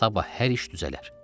Sabah hər iş düzələr.